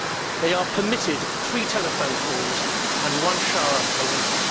They are permitted three telephone calls and one shower a week.